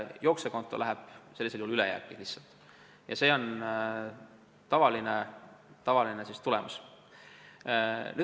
Jooksevkonto läheb sellisel juhul lihtsalt ülejääki ja see on tavaline tulemus.